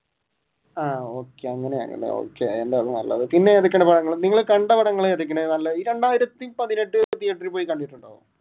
ആഹ് okay അങ്ങനെയാണല്ലേ okay പിന്നെ ഏതൊക്കെയാണ് പടങ്ങൾ നിങ്ങൾ കണ്ട പടങ്ങൾ ഏതൊക്കെയാണ് നല്ല ഈ രണ്ടായിരത്തി പതിനെട്ട് തീയേറ്ററിൽ പോയി കണ്ടിരുന്നോ?